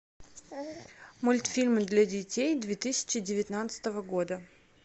мультфильмы для детей две тысячи девятнадцатого года